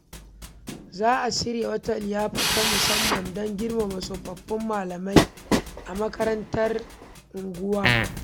Za a shirya wata liyafa ta musamman don girmama tsofaffin malamai a makarantar unguwa.